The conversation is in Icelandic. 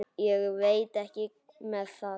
Ég veit ekki með það.